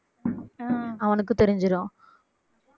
ஹம் அவனுக்கு தெரிஞ்சுரும்